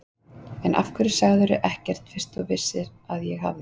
En af hverju sagðirðu ekkert fyrst þú vissir að ég hafði.